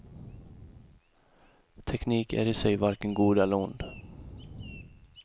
Teknik är i sig varken god eller ond.